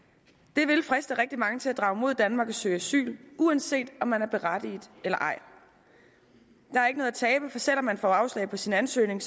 det vil friste rigtig mange til at drage mod danmark og søge asyl uanset om man er berettiget eller ej der er ikke noget at tabe for selv om man får afslag på sin ansøgning